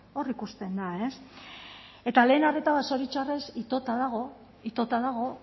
hor ikusten da ez eta lehen arreta zoritxarrez itota dago itota dago